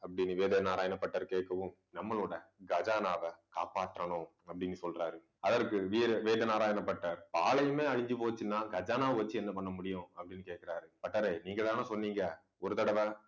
அப்பிடின்னு வேத நாராயண பட்டர் கேட்கவும் நம்மளோட கஜானாவ காப்பாத்தணும் அப்பிடின்னு சொல்றாரு. அதற்கு வீர வேதநாராயண பட்டர் பாலையுமே அழிஞ்சு போச்சுன்னா கஜானாவை வச்சு என்ன பண்ண முடியும் அப்பிடின்னு கேட்கிறாரு. பட்டரே நீங்கதானே சொன்னீங்க. ஒரு தடவை